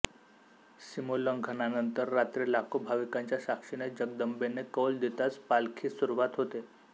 सीमोल्लंघनानंतर रात्री लाखो भाविकांच्या साक्षीने जगदंबेने कौल देताच पालखीस सुरुवात होते